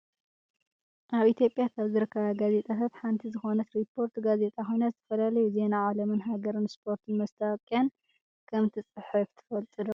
ኣብ ኢትዮጵያ ካብ ዝርከባ ጋዜጣታት ሓንቲ ዝኮነት ሪፖርተር ጋዜጣ ኮይና ዝተፈላለዩ ዜና ዓለምን ሃገርንን ስፖርትን መስታወቅያን ከምትፅሕፍ ትፈልጡ ዶ ?